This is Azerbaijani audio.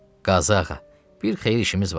Qazı ağa, bir xeyir işimiz var.